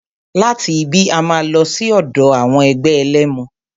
Láti ibí, a máa lọ sí ọ̀dọ̀ ẹgbẹ́ àwọn ẹlẹ́mu.